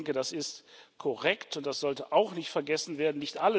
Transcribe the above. Ich denke, das ist korrekt und das sollte auch nicht vergessen werden.